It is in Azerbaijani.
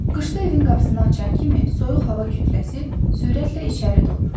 Qışda evin qapısını açan kimi soyuq hava kütləsi sürətlə içəri dolur.